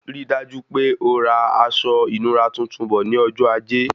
Rí dájú pé ora aṣọ ìnura tuntun bọ̀ ní ọjọ ajé